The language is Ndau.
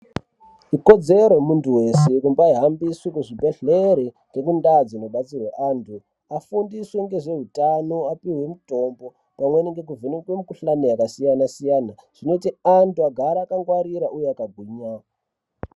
Ikodzero yemuntu wese kumbahambiswe kuzvibhedhlere nekuntaa dzinobatsirwa antu, afundiswe zveutano apihwe mutombo , pamweni nekuvheneke mikhuhlani yakasiyana-siyana, zvinoite antu agare akangwarira, uye akagwinya.